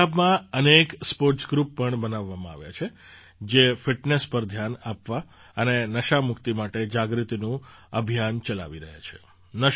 પંજાબમાં અનેક sports group પણ બનાવવામાં આવ્યાં છે જે ફિટનેસ પર ધ્યાન આપવા અને નશામુક્તિ માટે જાગૃતિનું અભિયાન ચલાવી રહ્યાં છે